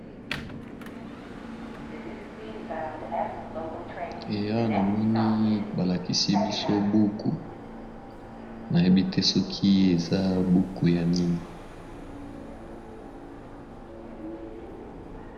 Awa namoni balakisi biso mwa buku mais buku oyo nayebite soki aza buku ya nini